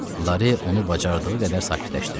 Lare onu bacardığı qədər sakitləşdirirdi.